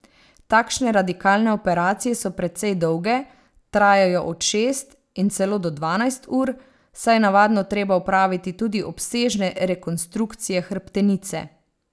Takšne radikalne operacije so precej dolge, trajajo od šest in celo do dvanajst ur, saj je navadno treba opraviti tudi obsežne rekonstrukcije hrbtenice.